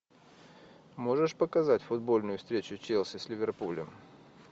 можешь показать футбольную встречу челси с ливерпулем